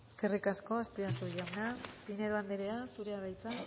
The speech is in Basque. eskerrik asko azpiazu jauna pinedo anderea zurea da hitza